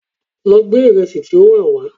Lọ gbé ìrẹsì tí ó wà wá!